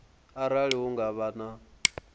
arali hu nga vha na